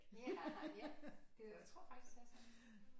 Ja jeg tror faktisk at det er sådan